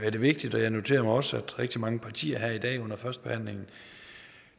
vigtigt og jeg noterer mig også at rigtig mange partier her i dag under førstebehandlingen